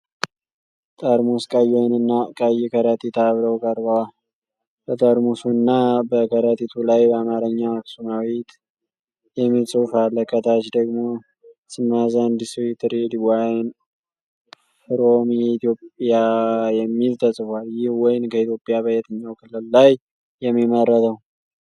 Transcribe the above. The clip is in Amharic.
ጠርሙስ ቀይ ወይንና ቀይ ከረጢት አብረው ቀርበዋል። በጠርሙሱና በከረጢቱ ላይ በአማርኛ "አክሱማዊት" የሚል ጽሁፍ አለ። ከታች ደግሞ 'ስማዝ አንድ ስዊት ሬድ ዋይን ፍሮም ኢትዮጵያ' የሚል ተጽፏል። ይህ ወይን ከኢትዮጵያ በየትኛው ክልል ነው የሚመረተው?